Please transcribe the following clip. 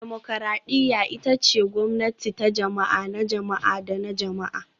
Dimokuradiyya ita ce gwamnati ta jama'a, na jama'a da na jama'a